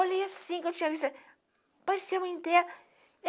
Olhei assim, que eu tinha visto ela, parecia a mãe dela.